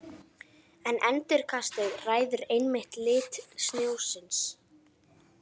En endurkastið ræður einmitt lit snjósins.